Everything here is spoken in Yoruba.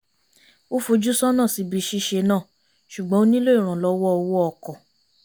ó fojú sọ́nà síbi ṣíṣe náà ṣùgbọ́n ó nílò ìrànllọ́wọ́ owó ọkọ̀